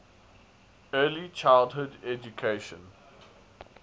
early childhood education